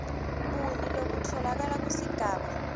buni lobutfolakala kusigaba